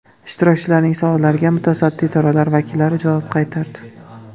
Ishtirokchilarning savollariga mutasaddi idoralar vakillari javob qaytardi.